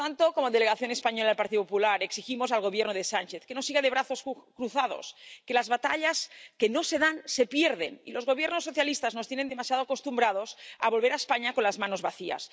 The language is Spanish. Por tanto, como delegación española del Partido Popular Europeo, exigimos al Gobierno de Sánchez que no siga de brazos cruzados, que las batallas que no se dan se pierden, y los gobiernos socialistas nos tienen demasiado acostumbrados a volver a España con las manos vacías.